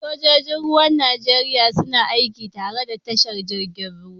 Sojoji Ruwan Najeriya suna aiki tare da tashar jirgin ruwan.